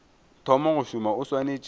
thoma go šoma o swanetše